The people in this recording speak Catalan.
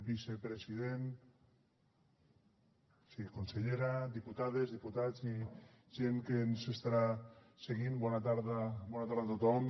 vicepresident consellera diputades diputats i gent que ens estarà seguint bona tarda a tothom